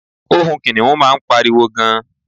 ohun kiniun ma n pariwo gan